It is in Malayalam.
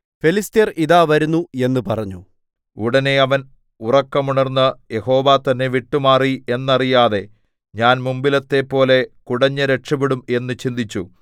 ഫെലിസ്ത്യർ ഇതാ വരുന്നു എന്ന് പറഞ്ഞു ഉടനെ അവൻ ഉറക്കമുണർന്നു യഹോവ തന്നെ വിട്ടുമാറി എന്നറിയാതെ ഞാൻ മുമ്പിലത്തെപ്പോലെ കുടഞ്ഞ് രക്ഷപെടും എന്ന് ചിന്തിച്ചു